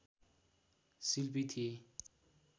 शिल्पी थिए